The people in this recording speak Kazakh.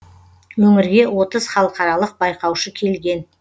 өңірге отыз халықаралық байқаушы келген